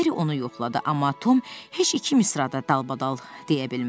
Merri onu yoxladı, amma Tom heç iki misra da dalbadal deyə bilmədi.